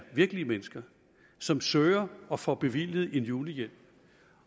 virkelige mennesker som søger og får bevilget en julehjælp